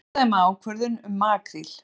Fordæma ákvörðun um makríl